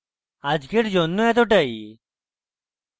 আজকের জন্য এতটাই